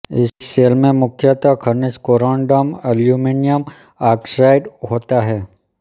इस शैल में मुख्यतः खनिज कोरण्डम अलुमिनियम आक्साइड होता है